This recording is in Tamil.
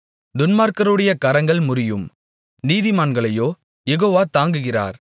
துன்மார்க்கருடைய கரங்கள் முறியும் நீதிமான்களையோ யெகோவா தாங்குகிறார்